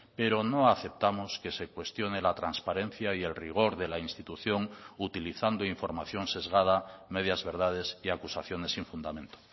pero no aceptamos que se cuestione la transparencia y el rigor de la institución utilizando información sesgada medias verdades y acusaciones sin fundamento